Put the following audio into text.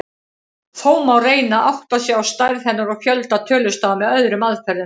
Þó má reyna að átta sig á stærð hennar og fjölda tölustafa með öðrum aðferðum.